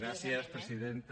gràcies presidenta